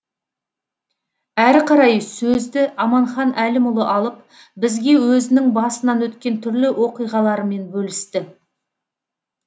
әрі қарай сөзді аманхан әлімұлы алып бізге өзінің басынан өткен түрлі оқиғаларымен бөлісті